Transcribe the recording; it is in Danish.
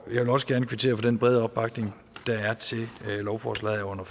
vil også gerne kvittere for den brede opbakning der er til lovforslaget under